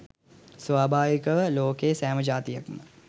ස්වභාවිකව ලෝකයේ සෑම ජාතියක්ම